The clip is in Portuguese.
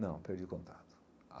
Não, perdi o contato.